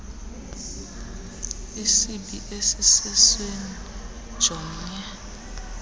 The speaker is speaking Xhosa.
isibi esisesweni jomnye